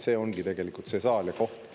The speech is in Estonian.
Siin on tegelikult see saal ja koht.